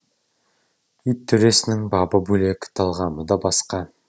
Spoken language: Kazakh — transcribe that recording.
ит төресінің бабы да бөлек талғамы да басқа